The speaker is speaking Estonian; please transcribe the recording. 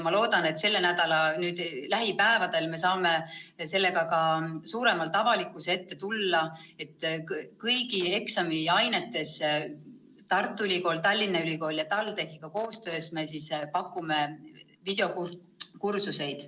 Ma loodan, et lähipäevadel me saame sellega ka suuremalt avalikkuse ette tulla, et me pakume kõigis eksamiainetes Tartu Ülikooli, Tallinna Ülikooli ja TalTechiga koostöös videokursuseid.